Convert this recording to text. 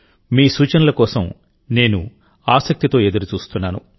మీ సూచనల కోసం నేను ఆసక్తితో ఎదురు చూస్తున్నాను